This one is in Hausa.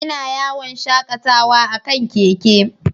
Ina yawon shakatawa a kan keke.